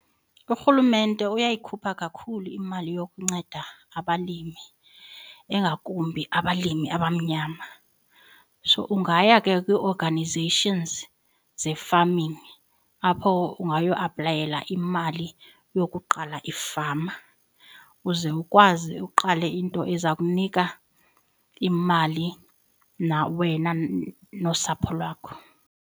Urhulumente uyayikhupha kakhulu imali yokunceda abalimi engakumbi abalimi abamnyama. So, ungaya ke kwi-organizations ze-farming apho ungayo aplayela imali yokuqala ifama uze ukwazi uqale into eza kunika imali wena nosapho lwakho.